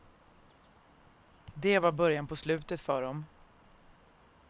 Det var början på slutet för dem.